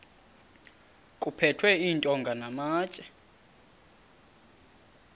kuphethwe iintonga namatye